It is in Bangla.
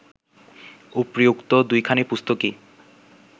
উপরি-উক্ত দুইখানি পুস্তকই